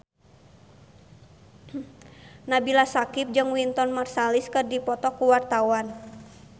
Nabila Syakieb jeung Wynton Marsalis keur dipoto ku wartawan